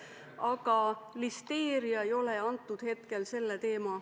Aga listeeria ei ole selle eelnõu teema.